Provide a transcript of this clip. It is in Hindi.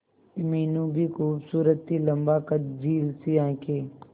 मीनू भी खूबसूरत थी लम्बा कद झील सी आंखें